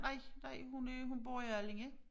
Nej nej hun øh hun bor i Allinge